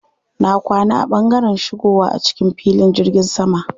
Na kwana a ɓangaren shigowa a cikin filin jirgin sama.